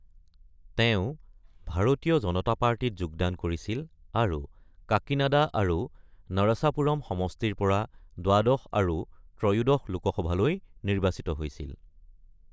তেওঁ ভাৰতীয় জনতা পাৰ্টীত যোগদান কৰিছিল আৰু কাকিনাডা আৰু নৰসাপুৰম সমষ্টিৰ পৰা দ্বাদশ আৰু ত্ৰয়োদশ লোকসভালৈ নিৰ্বাচিত হৈছিল।